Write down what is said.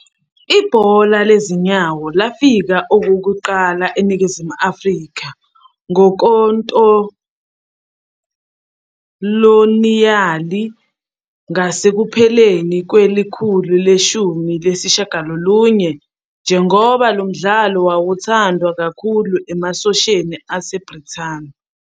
Ibhola lezinyawo lafika okokuqala eNingizimu Afrika ngokoloniyali ngasekupheleni kwekhulu leshumi nesishiyagalolunye, njengoba lo mdlalo wawuthandwa kakhulu emasosheni aseBrithani.